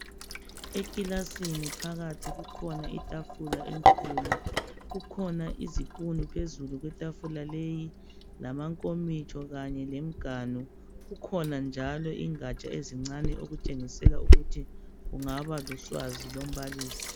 Ekilasini phakathi kukhona itafula enkulu kukhona izipunu phezulu kwetafula leyi lamankomitsho kanye lemganu kukhona njalo ingaja ezincane okutshengisela ukuthi kungaba luswazi lombalisi.